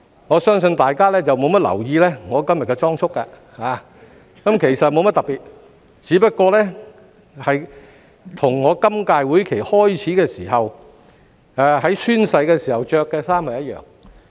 我相信大家沒有留意我今天的裝束，其實沒甚麼特別，只是與我在今屆會期開始及進行宣誓時穿着的衣服一樣。